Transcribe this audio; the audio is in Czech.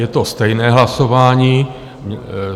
Je to stejné hlasování.